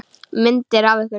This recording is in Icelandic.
Myndir af ykkur.